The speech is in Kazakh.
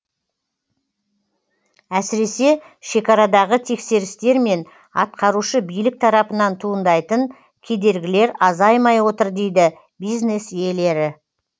әсіресе шекарадағы тексерістер мен атқарушы билік тарапынан туындайтын кедергілер азаймай отыр дейді бизнес иелері